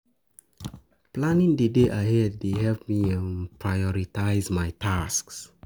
Planning the day ahead dey help me um prioritize my tasks.